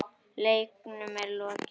Leiknum er lokið.